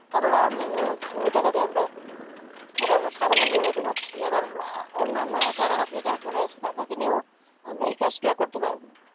আবার earning ও হচ্ছে। ওই টাকা দিয়ে আমরা এবার সাবলম্বী হতে পারছি। এবার অন্যান্য যারা বেকার পরে আছে, তাদেরকে নিয়েও আমরা এই কাজগুলা করতে পারবো।